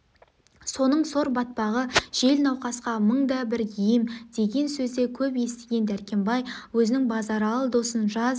соның сор батпағы жел науқасқа мың да бір ем деген сөзді көп естіген дәркембай өзінің базаралы досын жаз